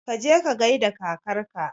Kaje ka gaida kakarka